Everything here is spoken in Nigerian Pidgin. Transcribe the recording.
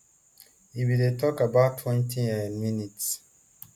e bin dey take about twenty um minutes